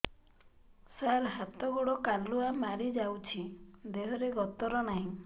ସାର ହାତ ଗୋଡ଼ କାଲୁଆ ମାରି ଯାଉଛି ଦେହର ଗତର ନାହିଁ